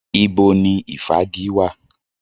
Ibo ni ìfági wà?